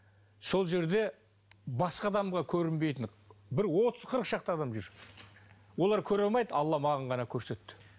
сол жерде басқа адамға көрінбейтін бір отыз қырық шақты адам жүр олар көре алмайды алла маған ғана көрсетті